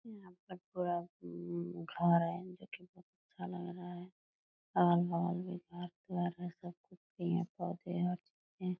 यहाँ पर पूरा उम घर है जोकि अच्छा लग रहा है आर पार सब कुछ सही हैपोधे हैं पेड़ है।